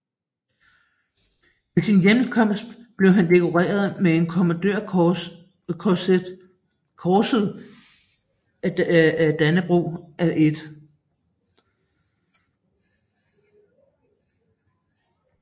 Ved sin hjemkomst blev han dekoreret med Kommandørkorset af Dannebrog af 1